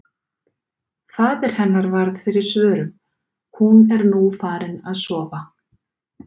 Faðir hennar varð fyrir svörum: Hún er nú farin að sofa.